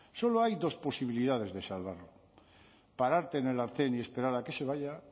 solo hay dos posibilidades de salvarlo pararte en el arcén y esperar a que se vaya